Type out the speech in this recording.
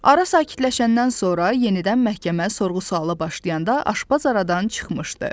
Ara sakitləşəndən sonra yenidən məhkəmə sorğu-suala başlayanda aşpaz aradan çıxmışdı.